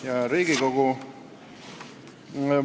Hea Riigikogu!